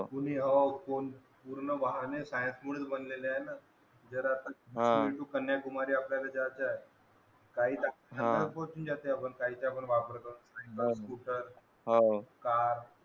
वाहन आहेत पूल बनलेला आहे आपल्याला कन्या कुमारी आपल्यला जायचंय